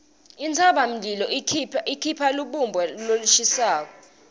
intsabamlilo ikhipha lubumba lolushisako